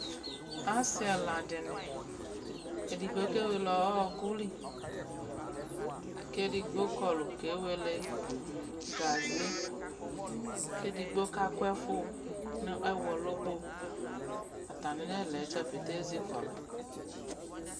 Ase ɛla dene , edigbo ke wele ɔku li kɛ edigbo kɔlu ke wele gaze, kɛ edigbo ka ko ɛfu no ɛwɔ loboo Atane nɛla dza pete ezikɔlu